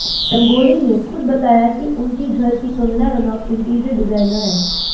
रंगोली ने खुद बताया कि उनकी घर की कंगना रनौत इंटीरियर डिडाइन हैं